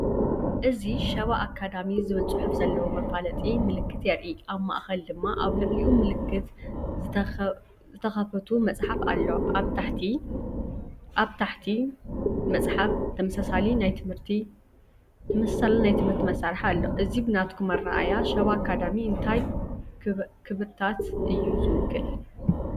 እዚ “ሸባ ኣካዳሚ” ዝብል ጽሑፍ ዘለዎ መፋለጢ ምልክት የርኢ። ኣብ ማእከል ድማ ኣብ ልዕሊኡ ምልክት ዝተከፉት መጽሓፍ ኣሎ። ኣብ ትሕቲ እቲ መጽሓፍ ተመሳሳሊ ናይ ትምህርቲ መሳርሒ ኣሎ። እዚ ብናትኩም ኣረኣእያ ሸባ ኣካዳሚ እንታይ ክብርታት እዩ ዝውክል?